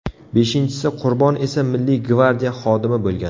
Beshinchisi qurbon esa Milliy gvardiya xodimi bo‘lgan.